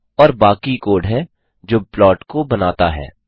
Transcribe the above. और बाकी कोड है जो प्लॉट को बनाता है